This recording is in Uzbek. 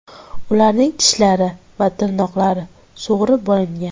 Ularning tishlari va tirnoqlari sug‘urib olingan.